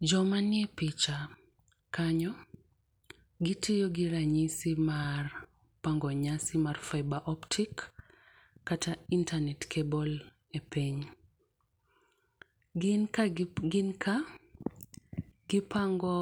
Jo ma ni e picha kanyo gi tiyo gi ranyisi mar oangi nyasi mar fibre optic kata internet cable e piny. Gin ka gi pango